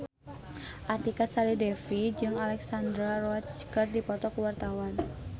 Artika Sari Devi jeung Alexandra Roach keur dipoto ku wartawan